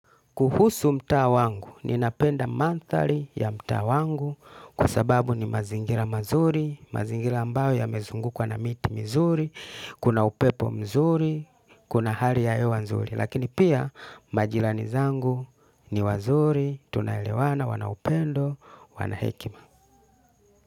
Kuhusu mtaa wangu, ninapenda manthari ya mtaa wangu kwa sababu ni mazingira mazuri, mazingira ambayo yamezungukwa na miti mizuri, kuna upepo mzuri, kuna hali ya hewa nzuri. Lakini pia majirani zangu ni wazuri, tunaelewana, wana upendo, wana hekima.